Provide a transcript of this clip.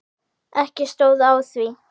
Ekki stóð á því.